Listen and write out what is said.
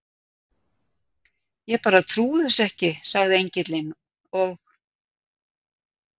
Ég bara trúi þessu ekki, sagði Engillinn, og